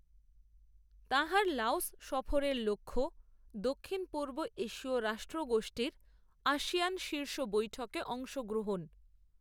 তাঁহার লাওস সফরের লক্ষ্য, দক্ষিণপূর্ব এশীয় রাষ্ট্রগোষ্ঠীর, আসিয়ান শীর্ষ বৈঠকে, অংশগ্রহণ